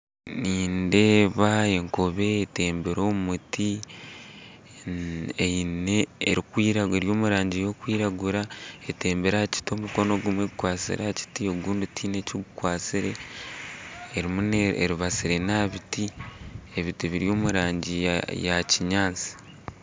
Nindeeba enkobe etembire omu muti eine eri omu rangi erikwiragura etembire aha kiti omukono gumwe gukwatsire aha kiti ogundi tihaine eki gukwatsire erimu eribatsire n'aha biti ebiti biri omu rangi ya ya kinyaatsi.